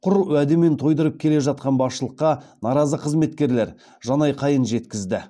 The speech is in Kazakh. құр уәдемен тойдырып келе жатқан басшылыққа наразы қызметкерлер жанайқайын жеткізді